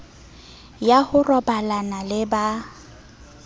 ya ho robalana le ba